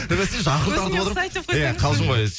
бәсе жақын тартып отырмын иә қалжын ғой